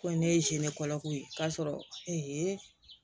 Ko ne ye ko ye k'a sɔrɔ